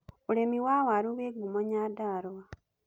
Urĩmi wa waru wĩ ngumo Nyandarua.